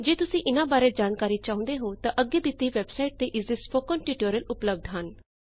ਜੇ ਤੁਸੀਂ ਇਨਾਂ ਬਾਰੇ ਜਾਣਕਾਰੀ ਚਾਹੁੰਦੇ ਹੋ ਤਾਂ ਅੱਗੇ ਦਿੱਤੀ ਵੈੱਬਸਾਈਟ ਤੇ ਇਸਦੇ ਸਪੋਕਨ ਟਿਊਟੋਰਿਅਲ ਉਪਲਬੱਧ ਹੈ